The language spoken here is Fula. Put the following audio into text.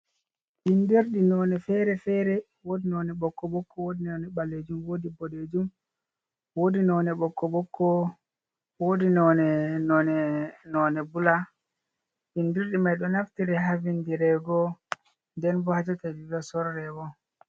Bindirɗi none fere-fere, wodi none ɓokko ɓokko, wodi none ɓallejum, wodi boɗejum, wodi none ɓokko ɓokko wodi none none none bula bindirɗi mai ɗo naftiri havin dirego den bo hajota ɗiɗo sorrewo.